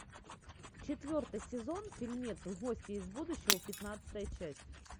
четвертый сезон фильмец гости из будущего пятнадцатая часть